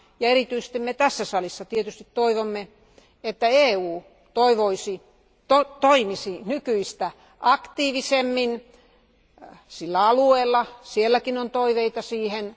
Erityisesti me tässä salissa tietysti toivomme, että EU toimisi nykyistä aktiivisemmin sillä alueella, sielläkin on toiveita siihen.